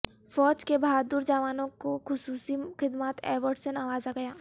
فوج کے بہادر جوانوں کو خصوصی خدمات ایوارڈ سے نوازا گیا